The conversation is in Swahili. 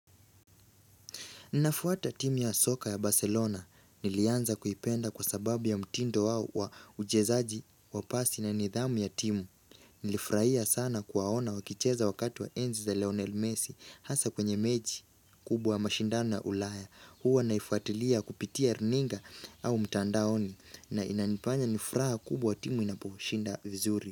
Ninafuata timu ya soka ya Barcelona. Nilianza kuipenda kwa sababu ya mtindo wao wa uchezaji, wa pasi na nidhamu ya timu. Nilifurahia sana kuwaona wakicheza wakati wa enzi za Leonel Messi hasa kwenye mechi kubwa ya mashindano ya ulaya. Huwa naifuatilia kupitia rininga au mtandaoni na inanifanya ni furaha kubwa timu inaposhinda vizuri.